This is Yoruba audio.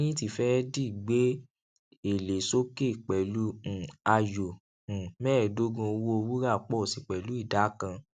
lẹyìn tí fẹẹdì gbé èlé sókè pẹlú um ayò um mẹẹdógbọn owó wúrà pọ si pẹlú ìdá kan